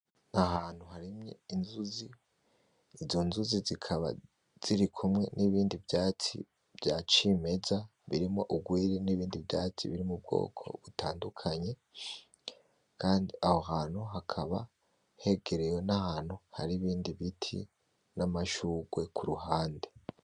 ahantu harimye Inzuzi ; izo nzuzi zikaba zirikumwe nibindi vyatsi vya cimeza birimwo ugwiri nibindi vyatsi vyo mubwoko butandukanye kandi aho hantu hegerewe n' ibiti na mashurwe kuruhande.